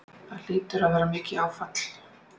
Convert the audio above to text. Það hlýtur að vera mikið áfall?